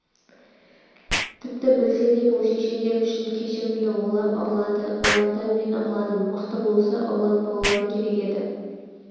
тіпті білсе де бұл шешендер үшін кешірімді олар ұрлады олардан мен ұрладым мықты болса ұрлатпаулары керек еді